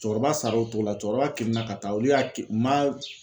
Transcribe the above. Cɛkɔrɔba sar'o cogo la, cɛkɔrɔba kirinna ka taa olu y'a u ma